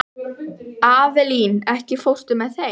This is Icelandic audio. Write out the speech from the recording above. Avelín, ekki fórstu með þeim?